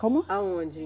Como? Aonde?